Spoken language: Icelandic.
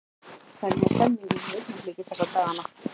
Hvernig er stemningin hjá Augnabliki þessa dagana?